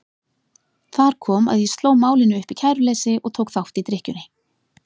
Þar kom að ég sló málinu upp í kæruleysi og tók þátt í drykkjunni.